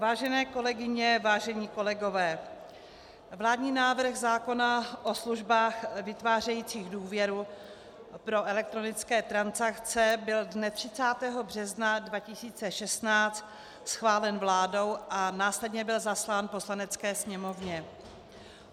Vážené kolegyně, vážení kolegové, vládní návrh zákona o službách vytvářejících důvěru pro elektronické transakce byl dne 30. března 2016 schválen vládou a následně byl zaslán Poslanecké sněmovně.